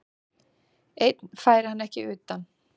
Einn færi hann ekki utan.